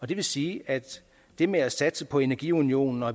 det vil sige at det med at satse på energiunionen og